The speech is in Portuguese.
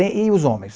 E e os homens?